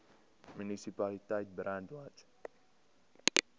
munisipaliteit brandwatch